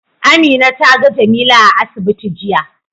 Amina ta ga Jamila a asibiti jiya.